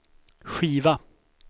skiva